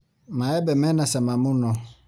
Maembe mena cama mũno.